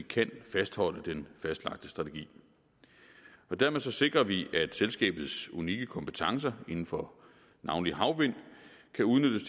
kan fastholde den fastlagte strategi og dermed sikrer vi at selskabets unikke kompetencer inden for navnlig havvind kan udnyttes